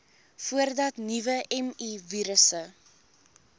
voordat nuwe mivirusse